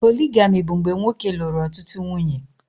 Poligami bụ mgbe nwoke lụrụ ọtụtụ nwunye